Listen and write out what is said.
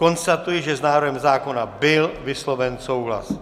Konstatuji, že s návrhem zákona byl vysloven souhlas.